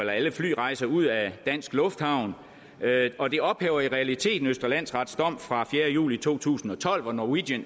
alle flyrejser ud af danske lufthavne og det ophæver i realiteten østre landsrets dom fra fjerde juli to tusind og tolv hvor norwegian